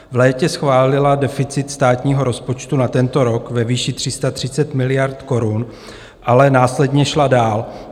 V létě schválila deficit státního rozpočtu na tento rok ve výši 330 miliard korun, ale následně šla dál.